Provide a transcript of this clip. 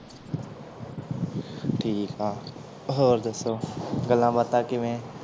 ਠੀਕ ਆ ਹੋਰ ਦੱਸੋ ਗੱਲਾਂ ਬਾਤਾਂ ਕਿਵੇਂ?